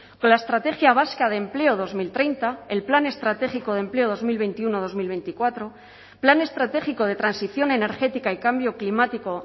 con la estrategia vasca de empleo dos mil treinta el plan estratégico de empleo dos mil veintiuno dos mil veinticuatro plan estratégico de transición energética y cambio climático